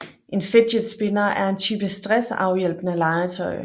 En fidget spinner er en type stressafhjælpende legetøj